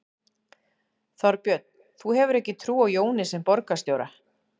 Þorbjörn: Þú hefur ekki trú á Jóni sem borgarstjóra?